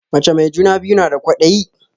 Mace mai juna biyu na da kwadayi